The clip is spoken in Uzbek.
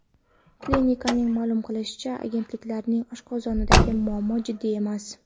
Klinikaning ma’lum qilishicha, argentinalikning oshqozonidagi muammo jiddiy emas.